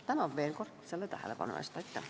Tänan veel kord tähelepanu eest!